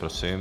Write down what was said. Prosím.